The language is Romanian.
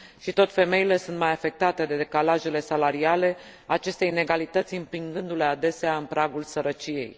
Și tot femeile sunt mai afectate de decalajele salariale, aceste inegalități împingându le, adesea, în pragul sărăciei.